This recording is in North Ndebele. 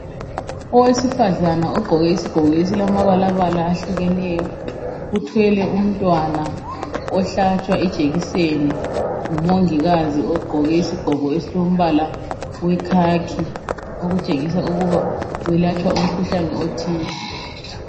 Owesifazana ogqoke isigqoko esilamabalabala ahlukeneyo uthwele umntwana ohlatshwa ijekiseni ngumongikazi ogqoke isigqoko esilombala wekhakhi okutshengisa ukuba welatshwa umkhuhlane othile.